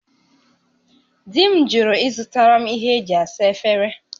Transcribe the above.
Di m jụrụ ịzụtara m ihe e ji asa efere